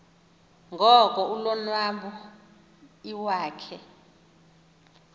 ngoko ulonwabo iwakhe